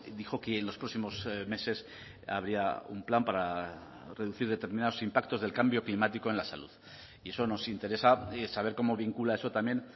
dijo que en los próximos meses habría un plan para reducir determinados impactos del cambio climático en la salud y eso nos interesa saber cómo vincula eso también